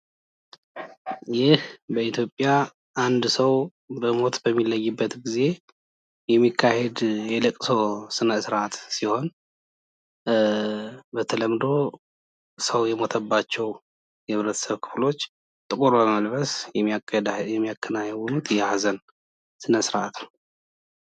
ይህ በኢትዮጵያ አንድ ሰው በሞት በሚለይበት ጊዜ የሚካሄድ የለቅሶ ስነስርአት ሲሆን በተለምዶ ሰው የሞተባቸው የህብረተሰብ ክፍሎች ጥቁር በመልበስ የሚያከናውኑት የሀዘን ስነስርአት ነው።